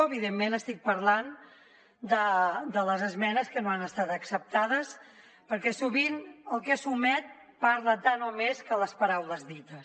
evidentment estic parlant de les esmenes que no han estat acceptades perquè sovint el que s’omet parla tant o més que les paraules dites